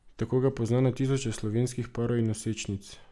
Tako ga pozna na tisoče slovenskih parov in nosečnic.